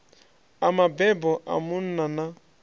a mabebo a munna na